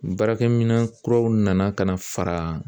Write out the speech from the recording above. Baarakɛminɛn kuraw nana ka na fara